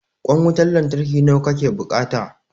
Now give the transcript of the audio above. Ƙwan wutan lantarki nawa ka ke buƙata?